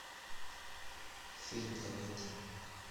фильм комедии